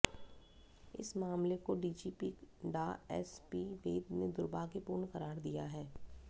इस मामले को DGP Dr S P Vaid ने दुर्भाग्यपूर्ण करार दिया है